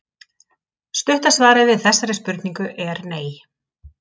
Stutta svarið við þessari spurningu er nei.